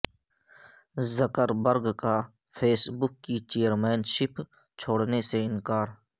زکر برگ کا Facebook کی چیئرمین شپ چھوڑنے سے انکار